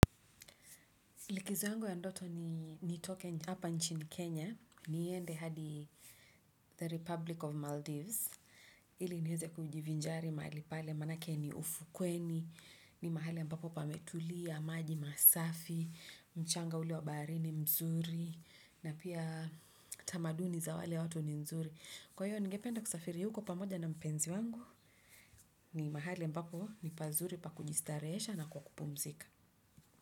Likizo yangu ya ndoto ni nitoke hapa nchini Kenya. Niende hadi the Republic of Maldives. Ili nieze kujivinjari mahali pale manake ni ufukweni. Ni mahali ambapo pametulia, maji masafi, mchanga ule wa baharini mzuri. Na pia tamaduni za wale watu ni mzuri. Kwa hiyo ningependa kusafiri huko pamoja na mpenzi wangu. Ni mahali ambapo ni pazuri pa kujistarehesha na kwa kupumzika.